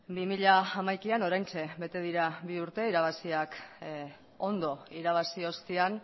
bi mila hamaikaan oraintxe bete dira bi urte ondo irabazi ostean